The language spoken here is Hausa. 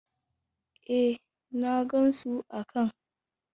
Eh na gansu a can!